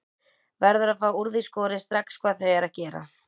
Verður að fá úr því skorið strax hvað þau eru að gera.